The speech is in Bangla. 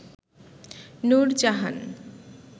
নুরজাহান